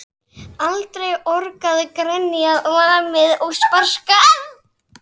Bóndinn var fámáll: Þú gengur hérna út á hlíðar